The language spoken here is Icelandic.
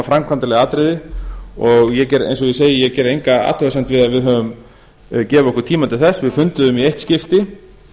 atriði og eins og ég segi ég geri enga athugasemd við að við höfum gefið okkur tíma til þess við funduðum í eitt skipti